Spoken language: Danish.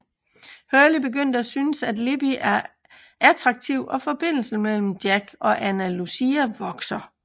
Hurley begynder at syntes Libby er attraktiv og forbindelsen mellem Jack og Ana Lucia vokser